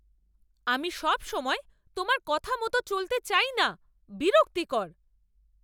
আমি সবসময় তোমার কথা মতো চলতে চাই না। বিরক্তিকর।